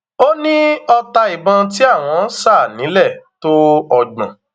ó ní ọta ìbọn tí àwọn sá nílẹ tó ọgbọn